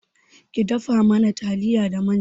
Ki dafa mana taliya da manja